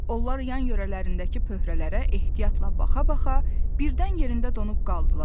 Onlar yan yörələrindəki pöhrələrə ehtiyatla baxa-baxa birdən yerində donub qaldılar.